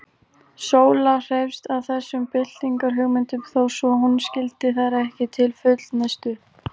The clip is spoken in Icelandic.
Sóla hreifst af þessum byltingarhugmyndum, þó svo hún skildi þær ekki til fullnustu.